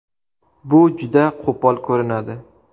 Bu juda qo‘pol ko‘rinadi.